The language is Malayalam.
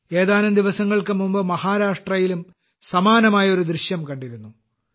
ഏതാനും ദിവസങ്ങൾക്ക് മുമ്പ് മഹാരാഷ്ട്രയിലും സമാനമായ ഒരു ദൃശ്യം കണ്ടിരുന്നു